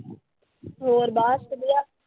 ਹੋਰ ਬਸ ਵਧੀਆ।